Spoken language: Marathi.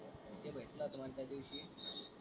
ते भेटलं होतं मला त्यादिवशी.